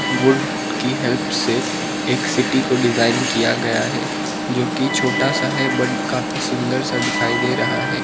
Would की help से एक सिटी को डिजाइन किया गया है जो कि छोटा सा है बट काफी सुंदर सा दिखाई दे रहा है।